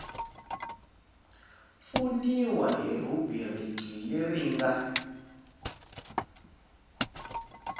pfuniwa hi rhubiriki leyi nga